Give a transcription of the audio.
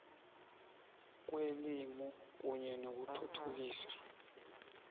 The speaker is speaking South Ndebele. kwelimi kunye nokuthuthukiswa